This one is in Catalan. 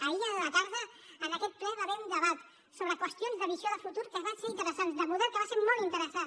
ahir a la tarda en aquest ple hi va haver un debat sobre qüestions de visió de futur que va ser interessant de model que va ser molt interessant